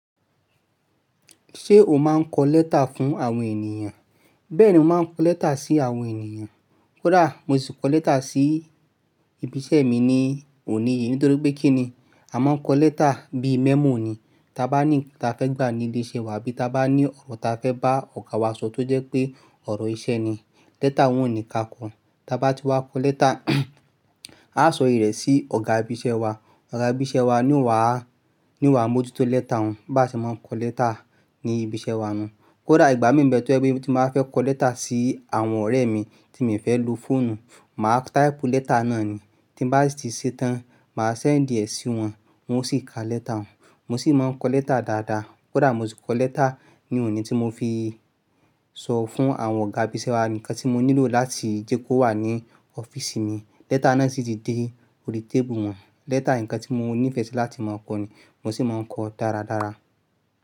Ṣé o máa ń kọ lẹ́tà fún àwọn ènìyàn? Bẹ́ẹ̀ni, mo máa ń kọ lẹ́tà sí àwọn ènìyàn. Kódà mo sì kọ lẹ́tà sí ibi iṣẹ́ mi ní òní yìí. Nítorí pé kí ni? A máa ń kọ lẹ́tà bíi memo ni. Tí a bá ní ǹkan ta fẹ́ gbà ní ilé iṣẹ́ wa bí ta bá ní ọ̀rọ̀ ta fẹ́ bá ọ̀gá wa sọ tó jẹ́ pé ọ̀rọ̀ iṣẹ́ ni. Lẹ́tà n wọ́n onìí ka kọ. Tí a bá ti wá kọ lẹ́tà, a sọ ìrẹ́ sí Ọ̀gá ibi iṣẹ́ wa. Ọ̀gá ibi iṣẹ́ wa ni ó wà á, ni o wà mójútó lẹ́tà òun. Bá ṣe máa ń kọ lẹ́tà ní ibi iṣẹ́ wa nu. Kódà ìgbà mí nbẹ tọ́ jẹ pé tí mo ba fẹ́ kọ lẹ́tà sí àwọn ọ̀rẹ́ mi, ti mi ò fẹ́ lo fóònù, màá type lẹ́tà náà ni. Tí bá sì ṣe tán, màá send ẹ sí wọn, wọn ó sì ka lẹ́tà òun. Mo sì máa ń kọ lẹ́tà dáadáa. Kódà mo sì kọ lẹ́tà ní òní tí mo fi sọ fún àwọn ọ̀gá ibi iṣẹ́ wa ǹkan tí mo nílò láti jẹ́ kó wà ní ọ́fíìsì mi. Lẹ́tà náà sì ti dé orí tébùù wọn. Lẹ́tà ǹkan tí mo nífẹ̀ẹ́ sí láti máa ń kọ ni mo sì máa ń kọ dáradára.